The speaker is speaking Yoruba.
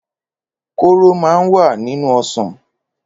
Kóró máa ń wà nínú ọsàn.